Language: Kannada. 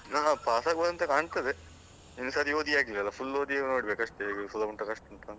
ಹ ಹ pass ಆಗ್ಬಹುದು ಅಂತ ಕಾಣ್ತದೆ. ಇನ್ನು ಸರಿ ಓದಿ ಆಗ್ಲಿಲ್ಲ ಅಲ್ಲ full ಓದಿ ಆಗ್ಬೇಕು ಅಷ್ಟೆ, ಸುಲಭ ಉಂಟಾ ಕಷ್ಟ ಉಂಟಂತಾ.